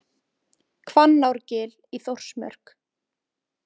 Hvannárgil í Þórsmörk.